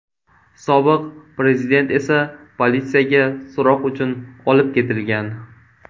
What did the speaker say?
Sobiq prezident esa politsiyaga so‘roq uchun olib ketilgan.